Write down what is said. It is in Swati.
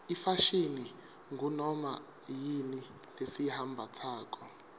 ifashini ngunoma yini lesiyimbatsako